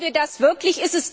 Wollen wir das wirklich?